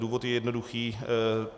Důvod je jednoduchý.